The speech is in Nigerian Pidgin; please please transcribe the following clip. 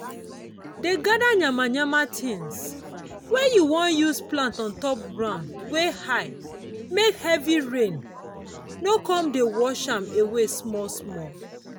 dey gada yamayama things wey you wan use plant on top ground wey high make heavy rain no con dey wash am away small small.